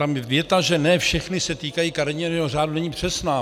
Tam věta, že ne všechny se týkají kariérního řádu, není přesná.